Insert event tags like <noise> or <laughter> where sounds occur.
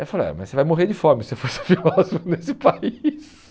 Eu falei, ah mas você vai morrer de fome se você for ser filósofo nesse país. <laughs>